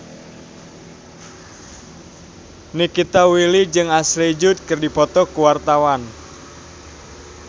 Nikita Willy jeung Ashley Judd keur dipoto ku wartawan